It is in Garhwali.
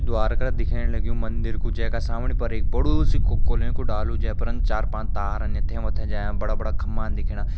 द्वार करा दिखेण लग्युं मंदिर कू जै का सामने पर एक बडू सी कोलियों कू डालु जै पर चार पांच यथें वथें जायां बड़ा बड़ा खंबा दिखेणा।